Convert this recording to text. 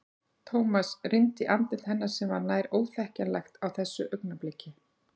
Thomas rýndi í andlit hennar sem var nær óþekkjanlegt á þessu augnabliki.